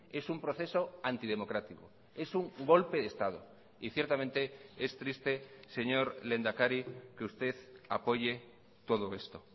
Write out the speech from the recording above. es un proceso antidemocrático es un golpe de estado y ciertamente es triste señor lehendakari que usted apoye todo esto